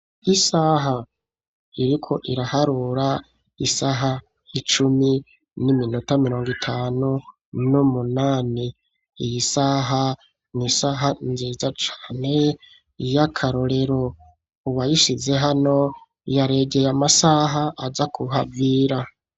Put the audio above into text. Isaha iriko iraharura isaha icumi n'iminota mirongo itanu n'umunani iyi saha n'isaha nziza cane yakarorero uwa yishize hano yaregeye amasaha aja kuhavira.